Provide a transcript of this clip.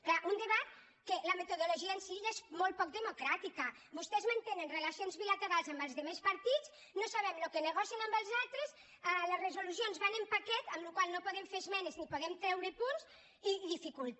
clar un debat en què la metodologia en si ja és molt poc democràtica vostès mantenen relacions bilate·rals amb els altres partits no sabem el que negocien amb els altres les resolucions van en paquet amb la qual cosa no hi podem fer esmenes ni en podem treu·re punts i dificulta